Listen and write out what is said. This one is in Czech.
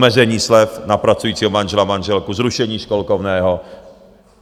Omezení slev na pracujícího manžela, manželku, zrušení školkovného.